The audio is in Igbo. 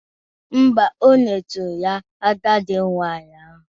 Mba, o nyeturu ya agide nwaanyị ahụ.